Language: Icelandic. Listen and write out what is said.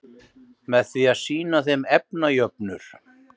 Með því að sýna þeim efnajöfnur?